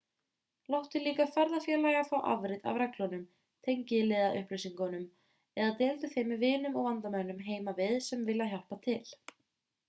láttu líka ferðafélaga fá afrit af reglunum/tengiliðaupplýsingum eða deildu þeim með vinum og vandamönnum heima við sem vilja hjálpa til